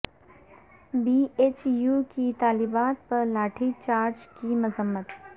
be H U کی طالبات پر لاٹھی چارج کی مذمت